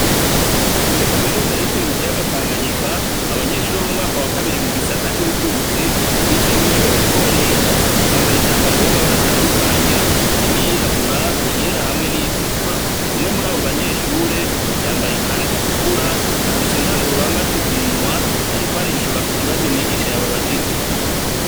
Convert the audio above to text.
Kuri kaminuza yitiriwe ikiyaga Tanganyika ,abanyeshure bo mumwaka wa kabiri mu gisata c'ubutunzi bicaye mw’ishuri bariko bariga, bambaye imyambaro y'amabare atandukanye harimw’ iyirabura iyera hamwe n'iyitukura umwe mur’abo banyeshure yambaye ikanz’itukura afise indangururamajwi ku munwa arikwarishura ku kibazo mwigisha yababajije.